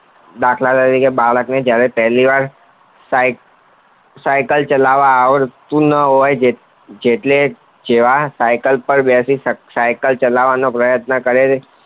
દાખલ તરીકે બાળકને જયારે પહેલી વાર સાયકલ ચાલવા આવડતી ન હોય જેવા સાયકલ પર બેસી સાયકલ ચાલવાનો પ્રયત્ન કરે છે